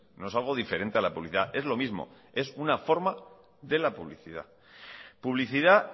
no es algo diferente a la publicidad es lo mimos es una forma de la publicidad